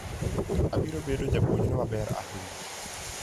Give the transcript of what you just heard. Obiro bedo japuonjre maber ahinya.